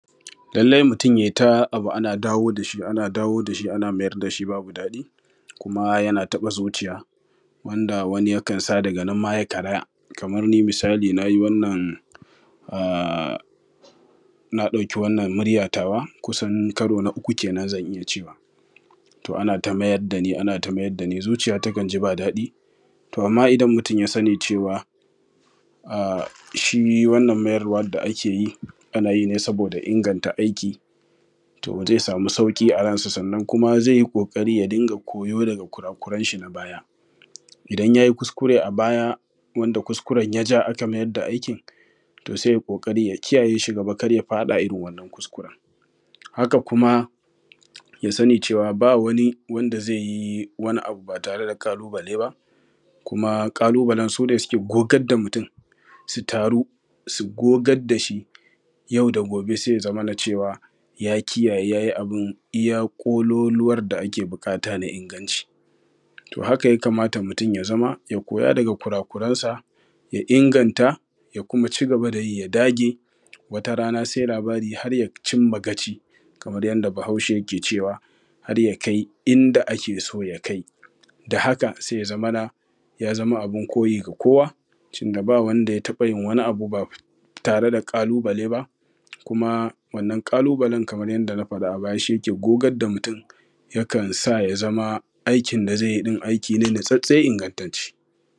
Lallai mutum yai ta abu ana dawo da shi ana dawo da shi ana mayar da shi babu daɗi kuma yana taɓa zuciya wanda ya kansa daga nan ma ya karaya. Kamar ni misali na ɗauki wannan muryan tawa kusan karo na uku kenan zan iya cewa, to ana ta mayar da ni ana ta mayar da ni zuciya takan ji ba daɗi, to amman idan mutum ya sani cewa shi wannan mayarwan da ake yi, ana yi ne saboda inganta aiki, to zai samu sauƙi a ransa, sannan kuma zai yi ƙoƙari ya dinga koyo daga kurakuren shi na baya. Idan yayi kuskure a baya, wanda kuskuren ya ja aka mayar da aikin, to sai yai ƙoƙari ya kiyaye shi gaba kar ya faɗa irin wannan kuskuren. Haka kuma ya sani cewa ba wani wanda zai yi wani abu ba tare da ƙalubale ba, kuma ƙalubale su ne suke gogar da mutum, su taru su gogar da shi, yau da gobe sai ya zamana cewa ya kiyaye ya yi abun iya ƙololuwan da ake buƙata na inganci. To haka ya kamata mutum ya zama ya koya daga kurakurensa, ya inganta, ya kuma cigaba da yi, ya dage wata rana sai labari har ya cin ma gaci. Kamar yanda bahaushe ke cewa har ya kai inda ake so ya kai da haka sai ya zamana ya zama abun koyi ga kowa, tunda ba wanda ya taɓa yin wani abu ba tare da ƙalubale ba, kuma wannan ƙalubale kaman yadda na faɗa a baya shi ke gogar da mutum ya kansa ya zama aikin da zai yi ɗin aiki ne natsatstse ingantacce.